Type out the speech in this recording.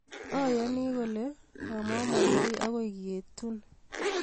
aiani kole amamandai akoi ketun